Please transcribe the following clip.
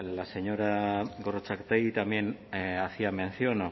la señora gorrotxategi también hacía mención